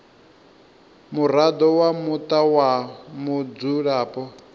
muraḓo wa muṱa wa mudzulapo